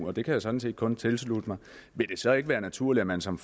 og det kan jeg sådan set kun tilslutte mig vil det så ikke være naturligt at man som